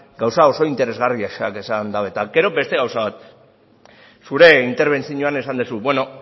gauza oso interesgarriak esan dute gero beste gauza bat zure interbentzioan esan duzu bueno